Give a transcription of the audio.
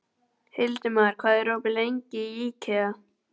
Hildimar, hvað er opið lengi í IKEA?